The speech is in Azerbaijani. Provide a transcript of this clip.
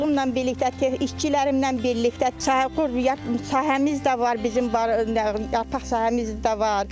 Oğlumla birlikdə, işçilərimlə birlikdə tut sahəmiz də var bizim yarpaq sahəmiz də var.